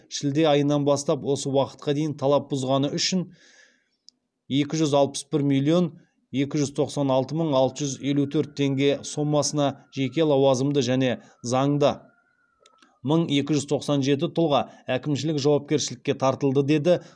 шілде айынан бастап осы уақытқа дейін талап бұзғаны үшін екі жүз алпыс бір миллион екі жүз тоқсан алты мың алты жүз елу төрт теңге сомасына жеке лауазымды және заңды мың екі жүз тоқсан жеті тұлға әкімшілік жауапкершілікке тартылды деді